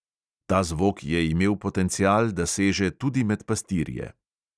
Ta zvok je imel potencial, da seže tudi med pastirje.